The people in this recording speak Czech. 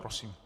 Prosím.